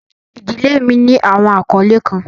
Ìdílé mi ní awọn akọle kan.